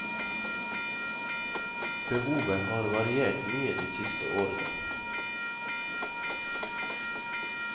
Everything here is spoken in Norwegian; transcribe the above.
Behovet har variert mye de siste årene.